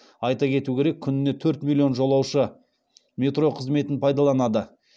айта кету керек күніне төрт миллион жолаушы метро қызметін пайдаланады